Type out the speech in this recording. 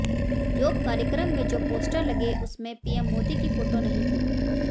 योग कार्यक्रम में जो पोस्टर लगे उसमें पीएम मोदी की फोटो नहीं थी